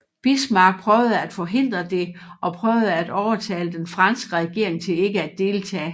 Bismarck prøvede at forhindre det og prøvede at overtale den franske regering til ikke at deltage